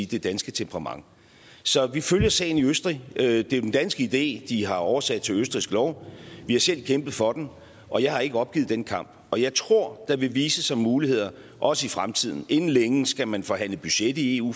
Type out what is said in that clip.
det danske temperament så vi følger sagen i østrig det er jo en dansk idé de har oversat til østrigsk lov vi har selv kæmpet for den og jeg har ikke opgivet den kamp og jeg tror der vil vise sig muligheder også i fremtiden inden længe skal man forhandle budget i eu